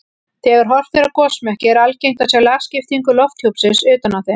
Þegar horft er á gosmekki er algengt að sjá lagskiptingu lofthjúpsins utan á þeim.